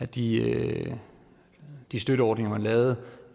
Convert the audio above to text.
de de støtteordninger man lavede